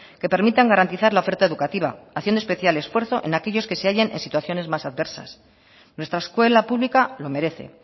que permitan garantizar la oferta educativa haciendo especial esfuerzo en aquellos que se hallan en situaciones más adversas nuestra escuela pública lo merece